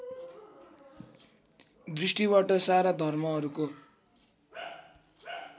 दृष्टिबाट सारा धर्महरूको